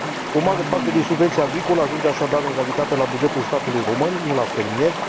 O mare parte din subvenția agricolă, ajunge așadar, în realitate, la bugetul statului român, nu la fermieri.